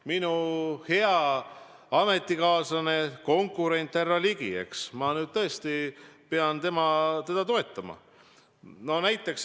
Minu endine ametikaaslane, konkurent härra Ligi – ma nüüd tõesti pean teda toetama.